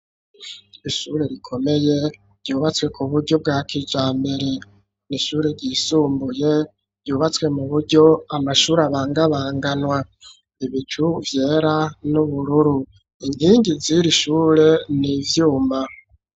Ishure rikomeye ryubatswe kuburyo bwa kijamBere n'ishure ryisumbuye ryubatswe mu buryo amashuri abangabanganwa ibicu vyera, n’ubururu ingingi ziri ishure n'ivyuma.